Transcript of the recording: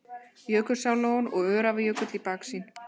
Jökulsárlón og Öræfajökull í baksýn.